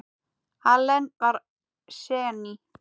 Allen var séní.